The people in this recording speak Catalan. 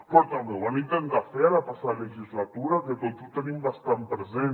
però també ho van intentar fer a la passada legislatura que tots ho tenim bastant present